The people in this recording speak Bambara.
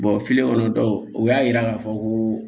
kɔnɔ dɔw o y'a yira k'a fɔ ko